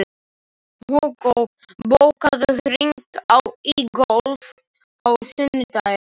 Hugo, bókaðu hring í golf á sunnudaginn.